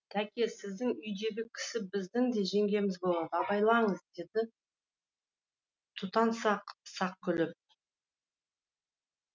тәке сіздің үйдегі кісі біздің де жеңгеміз болады абайлаңыз деді тұтан сақ сақ күліп